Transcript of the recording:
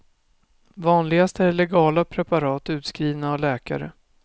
Vanligast är legala preparat, utskrivna av läkare.